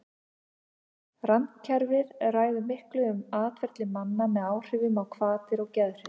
Randkerfið ræður miklu um atferli manna með áhrifum á hvatir og geðhrif.